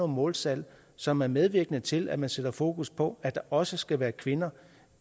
måltal som er medvirkende til at man sætter fokus på at der også skal være kvinder